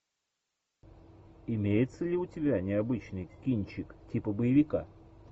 имеется ли у тебя необычный кинчик типа боевика